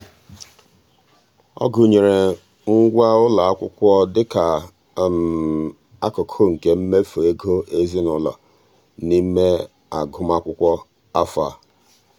ọ gụnyere ngwa ụlọakwụkwọ dị ka akụkụ nke mmefu ego ezinụụlọ n'ime agụmakwụkwọ afọ a.